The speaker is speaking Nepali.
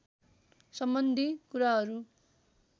सम्बन्धी कुराहरू